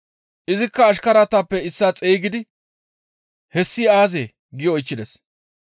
Izikka ashkaratappe issaa xeygidi, ‹Hessi aazee?› gi oychchides.